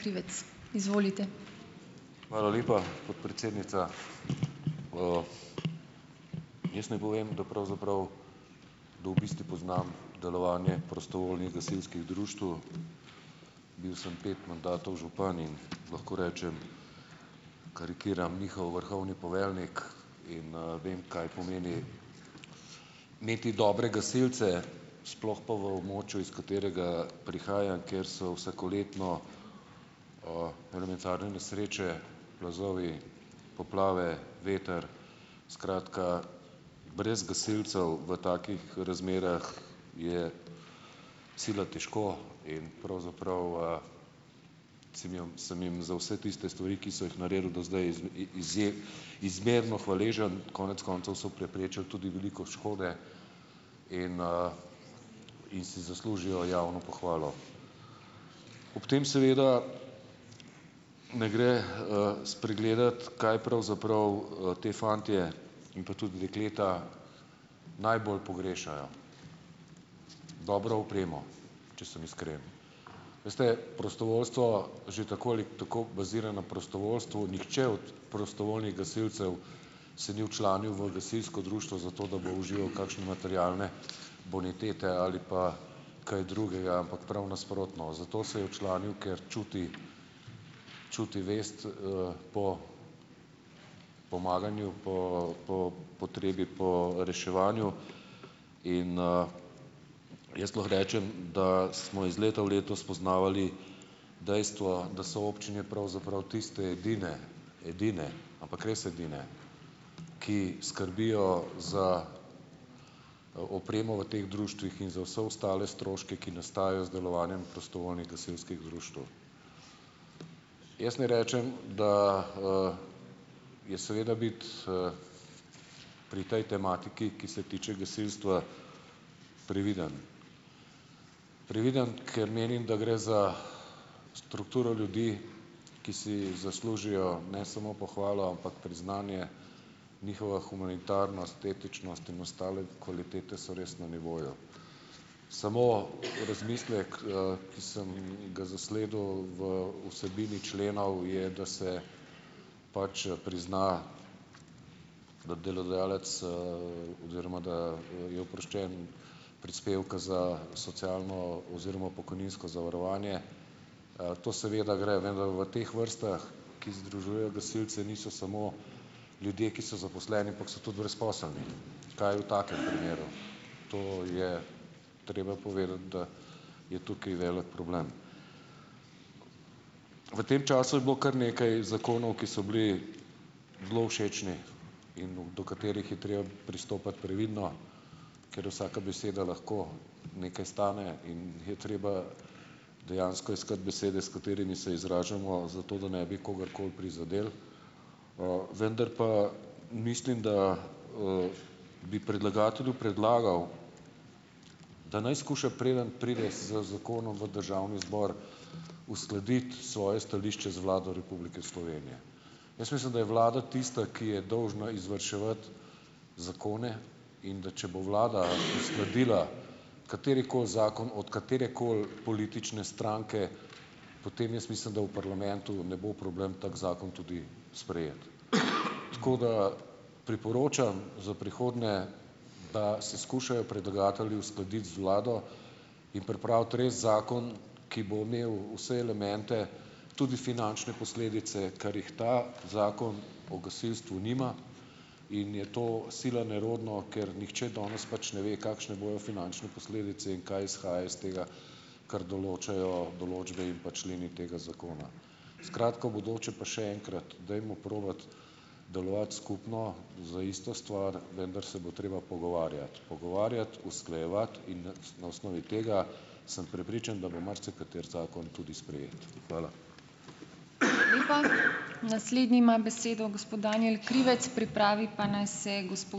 Hvala lepa, podpredsednica. Jaz naj povem, da pravzaprav, da v bistvu poznam delovanje prostovoljnih gasilskih društev. Bil sem pet mandatov župan in lahko rečem, karikiram, njihov vrhovni poveljnik in, vem, kaj pomeni imeti dobre gasilce, sploh pa v območju, iz katerega prihajam, kjer so vsakoletno elementarne nesreče, plazovi, poplave, veter, skratka, brez gasilcev v takih razmerah je sila težko in pravzaprav, sem jom sem jim za vse tiste stvari, ki so jih naredili do zdaj, izmerno hvaležen. Konec koncev so preprečili tudi veliko škode in si zaslužijo javno pohvalo. Ob tem seveda ne gre, spregledati, kaj pravzaprav, ti fantje in pa tudi dekleta, najbolj pogrešajo. Dobro opremo, če sem iskren. Veste, prostovoljstvo že tako ali tako bazira na prostovoljstvu, nihče od prostovoljnih gasilcev se ni včlanil v gasilsko društvo zato, da bo užival kakšne materialne bonitete ali pa kaj drugega, ampak prav nasprotno. Zato se je včlanil, ker čuti čuti vest, po pomaganju, potrebo po reševanju, jaz lahko rečem, da smo iz leta v leto spoznavali dejstvo, da so občine pravzaprav tiste edine, edine, ampak res edine, ki skrbijo za, opremo v teh društvih in za vse ostale stroške, ki nastajajo z delovanjem prostovoljnih gasilskih društev. Jaz ne rečem, da je seveda biti pri tej tematiki, ki se tiče gasilstva, previden. Previden, ker menim, da gre za strukturo ljudi, ki si zaslužijo ne samo pohvalo, ampak priznanje, njihova humanitarnost, etičnost in ostale kvalitete so res na nivoju. Samo v razmislek, ki sem ga zasledil v vsebini členov je, da se pač prizna, da delodajalec, oziroma, da je oproščen prispevka za socialno oziroma pokojninsko zavarovanje. To seveda gre, ne da v teh vrstah, ki združuje gasilci, niso samo ljudje, ki so zaposleni, ampak so tudi brezposelni. Kaj v takem primeru? To je treba povedati, da je tukaj velik problem. V tem času je bilo kar nekaj zakonov, ki so bili zelo všečni in do katerih je treba pristopati previdno, ker vsaka beseda lahko nekaj stane in je treba dejansko iskati besede, s katerimi se izražamo zato, da ne bi kogarkoli prizadeli, vendar pa mislim, da bi predlagatelju predlagal, da naj skuša, preden pride z zakonom v državni zbor, uskladiti svoje stališče z Vlado Republike Slovenije. Jaz mislim, da je vlada tista, ki je dolžna izvrševati zakone, in da če bo vlada sledila katerikoli zakon od katerekoli politične stranke, potem jaz mislim, da v parlamentu ne bo problem tak zakon tudi sprejeti. Tako da, priporočam za prihodnje, da se skušajo predlagatelji uskladiti z vlado in pripraviti res zakon, ki bo imel vse elemente, tudi finančne posledice, kar jih ta zakon o gasilstvu nima, in je to sila nerodno, ker nihče danes pač ne ve, kakšne bojo finančne posledice in kaj izhaja iz tega, kar določajo določbe in pa členi tega zakona. Skratka, v bodoče pa še enkrat, dajmo probati delovati skupno za isto stvar, vendar se bo treba pogovarjati. Pogovarjati, usklajevati in na osnovi tega sem prepričan, da bo marsikateri zakon tudi sprejet. Hvala.